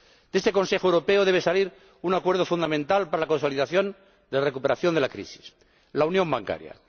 De este Consejo Europeo debe salir un acuerdo fundamental para la consolidación de la recuperación de la crisis, la unión bancaria.